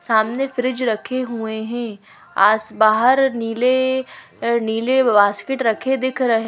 सामने फ्रिज रखे हुए हैं आस बाहर निले नीले वास्केट रखे दिख रहे--